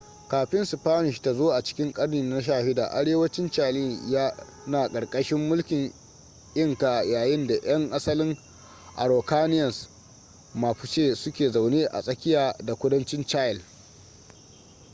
kafin spanish ta zo a cikin ƙarni na 16 arewacin chile yana ƙarƙashin mulkin inca yayin da 'yan asalin araucanians mapuche suke zaune a tsakiya da kudancin chile